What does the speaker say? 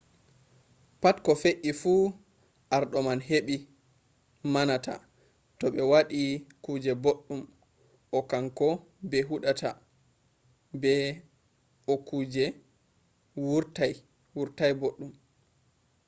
pat ko fe’i fu arɗo man hiɓe manata to ɓe waɗi kuje boɗɗum o kanko ɓe huɗata to okuje wurtaii boɗɗum